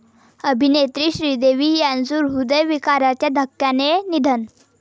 अभिनेत्री श्रीदेवी यांचं हृदयविकाराच्या धक्क्याने निधन